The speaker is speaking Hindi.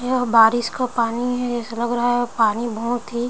यह बारिस का पानी हे ऐसा लग रहा है पानी बहुत ही --